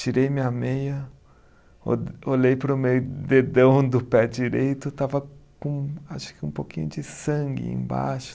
Tirei minha meia, o olhei para o meu dedão do pé direito, estava com acho que um pouquinho de sangue embaixo.